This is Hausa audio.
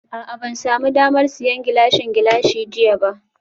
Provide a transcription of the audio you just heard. A'a ban sami damar siyan Gilashin Gilashin jiya ba